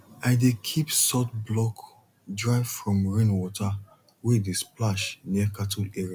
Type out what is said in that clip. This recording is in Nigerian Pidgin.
i dey keep salt block dry far from rain water wey dey splash near cattle area